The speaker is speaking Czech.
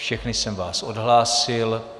Všechny jsem vás odhlásil.